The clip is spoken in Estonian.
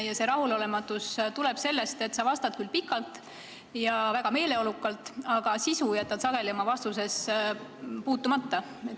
Ja see rahulolematus tuleb sellest, et sa vastad küll pikalt ja väga meeleolukalt, aga sisu jätad sageli puutumata.